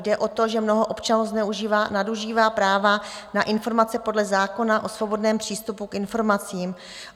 Jde o to, že mnoho občanů zneužívá, nadužívá práva na informace podle zákona o svobodném přístupu k informacím.